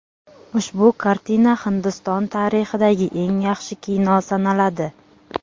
Ushbu kartina Hindiston tarixidagi eng yaxshi kino sanaladi.